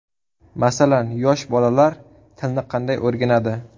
Masalan, yosh bolalar tilni qanday o‘rganadi?